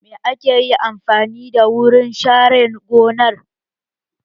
Me ka yi amfani da wurin share gonar?